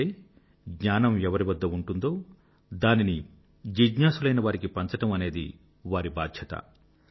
అంటే జ్ఞానం ఎవరివద్ద ఉంటుందో దానిని జిజ్ఞాసులైనవారికి పంచడం అనేది వారి బాధ్యత